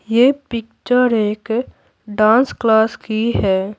ये पिक्चर एक dance class की है।